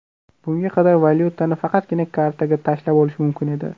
Bunga qadar valyutani faqatgina kartaga tashlab olish mumkin edi.